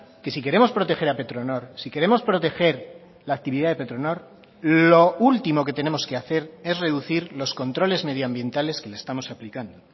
que si queremos proteger a petronor si queremos proteger la actividad de petronor lo último que tenemos que hacer es reducir los controles medioambientales que le estamos aplicando